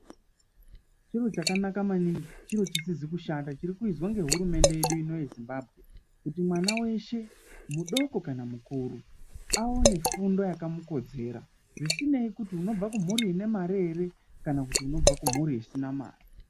Chiro chakanaka maningi chiro chisizi kushata chiri kuizwa nehurumende yeshe yezimbabwe kuti mwana weshe mudoko kana mukuru aone fundo yakamukodzera zvisinei kuti unobva kumhuri ine Mari here kana kuti unobva kumhuri isina mare.